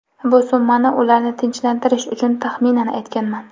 Bu summani ularni tinchlantirish uchun taxminan aytganman.